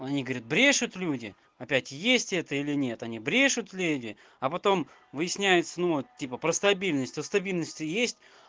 ну они говорят брешут люди опять есть это или нет они брешут леди а потом выясняется ну типа про стабильность у стабильность есть